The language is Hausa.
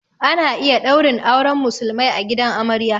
Ana iya ɗaurin auren musulmai a gidan amarya